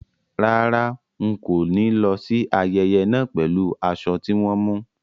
Rárá, ń kó ni lọ síí ayẹyẹ náà pẹ̀lú aṣọ tí wọn mú.